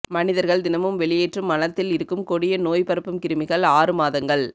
மனிதர்கள் தினமும் வெளியேற்றும் மலத்தில் இருக்கும் கொடிய நோய் பரப்பும் கிருமிகள் ஆறு மாதங்கள்